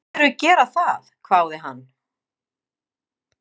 Myndirðu gera það? hváði hann.